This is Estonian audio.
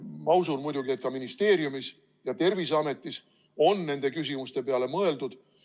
Ma usun muidugi, et ka ministeeriumis ja Terviseametis on nende küsimuste peale mõeldud.